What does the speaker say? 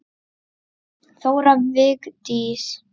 Þóra Vigdís.